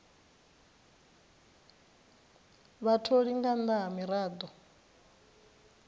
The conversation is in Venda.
vhatholi nga nnḓa ha miraḓo